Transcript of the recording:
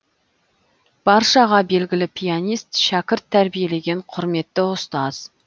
баршаға белгілі пианист шәкірт тәрбиелеген құрметті ұстаз